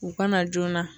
U ka na joona